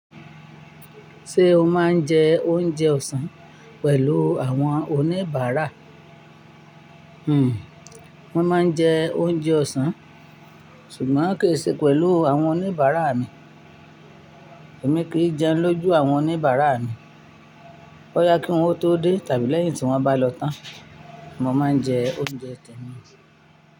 Ṣé o máa ń jẹ oúnjẹ ọ̀sán pẹ̀lú àwọn oníbàárà? Hmmm mo máa ń jẹ oúnjẹ ọ̀sán, ṣùgbọ́n kì í ṣe pẹ̀lú àwọn oníbàárà mi. Èmi kì í jẹun lójú àwọn oníbàárà mi. Boya kí wọ́n o tó dé tàbí lẹ́yìn tí wọ́n bá lọ tán. Mo máa ń jẹ oúnjẹ tẹ́mi.